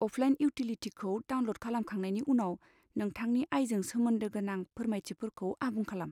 Offline इउटिलिटिखौ download खालामखांनायनि उनाव, नोंथांनि आयजों सोमोन्दो गोनां फोरमायथिफोरखौ आबुं खालाम।